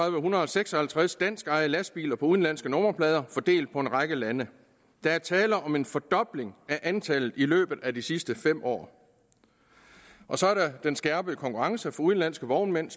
hundrede og seks og halvtreds danskejede lastbiler på udenlandske nummerplader fordelt på en række lande der er tale om en fordobling af antallet i løbet af de sidste fem år og så er der den skærpede konkurrence fra udenlandske vognmænd